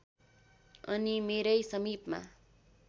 अनि मेरै समिपमा